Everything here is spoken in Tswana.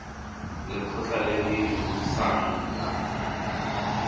lekgotla le le busang la